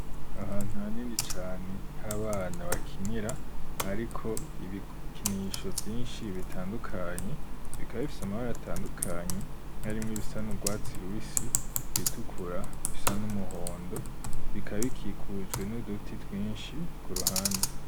Ahantu hanini cane h'abana bakinira ,hariko ibikinisho vyinshi bitandukanye, bikaba bifise amabara atandukanye ,nk'arimwe bisa n'ubwatsi rubisi ,bitukura ,bisa n'umuhondo ,bikaba bikikujwe n'uduti twinshi ku ruhande.